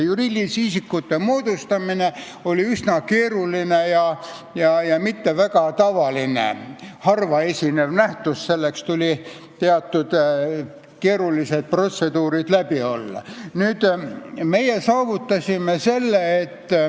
Juriidilise isiku moodustamine oli üsna keeruline ja mitte väga tavaline, see oli harva esinev nähtus, selleks tuli teatud keerulised protseduurid läbi teha.